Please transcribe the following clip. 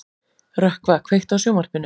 Rökkva, kveiktu á sjónvarpinu.